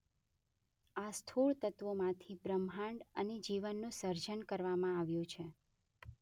આ સ્થૂળ તત્વોમાંથી બ્રહ્માંડ અને જીવનનું સર્જન કરવામાં આવ્યું છે.